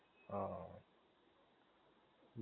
હઅ